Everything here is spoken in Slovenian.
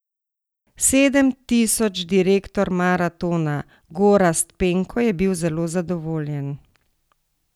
Sedem tisoč Direktor maratona Gorazd Penko je bil zelo zadovoljen.